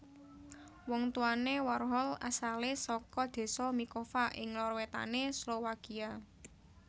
Wong tuwané Warhol asalé saka désa Mikova ing lor wétané Slowakia